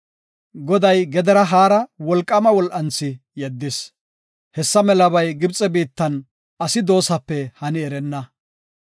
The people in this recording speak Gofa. Goday gedera haara wolqaama wol7anthi yeddis. Hessa melabay Gibxe biittan asi doosape hani erenna.